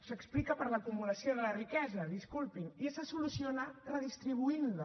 s’explica per l’acumulació de la riquesa disculpin i se soluciona redistribuint la